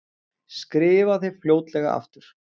Skrifa þér fljótlega aftur.